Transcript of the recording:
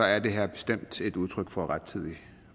er det her bestemt et udtryk for rettidig